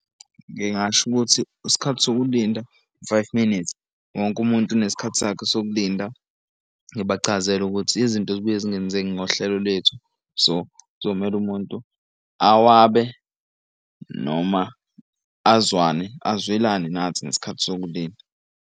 Ngingasho ukuthi isikhathi sokulinda u-five minutes wonke umuntu unesikhathi sakhe sokulinda. Ngibachazele ukuthi izinto zibuye zingenzeki ngohlelo lethu. So kuzomele umuntu awabe noma azwane azwelane nathi ngesikhathi sokulinda.